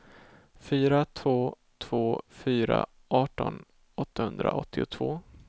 fyra två två fyra arton åttahundraåttiotvå